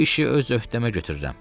Bu işi öz öhdəmə götürürəm.